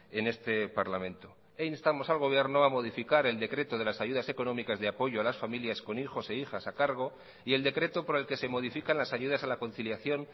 en este parlamento e instamos al gobierno a modificar el decreto de las ayudas económicas de apoyo a las familias con hijos e hijas a cargo y el decreto por el que se modifican las ayudas a la conciliación